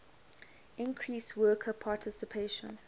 increase worker participation